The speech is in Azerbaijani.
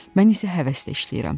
Mən isə həvəslə işləyirəm.